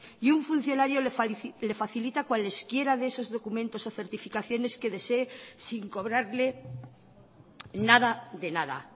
y un funcionario le facilita cualesquiera de esos documentos o certificaciones que desee sin cobrarle nada de nada